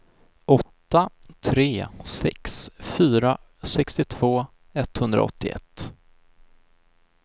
åtta tre sex fyra sextiotvå etthundraåttioett